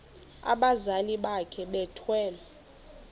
abazali bakhe bethwele